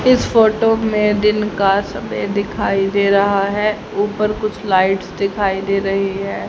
इस फोटो में दिन का समय दिखाई दे रहा है ऊपर कुछ लाइट्स दिखाई दे रही है।